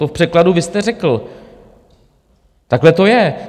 To v překladu vy jste řekl, takhle to je.